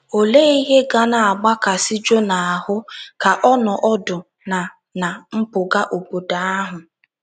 Olee ihe ga na - agbakasị Jona ahụ́ ka ọ nọ ọdụ ná ná mpụga obodo ahụ?